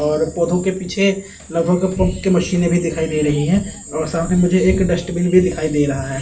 और पौधों के पीछे लगभग पंप की मशीने भी दिखाई दे रही हैं और सामने मुझे एक डस्टबिन भी दिखाई दे रहा है।